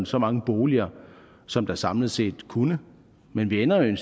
så mange boliger som der samlet set kunne men vi ender jo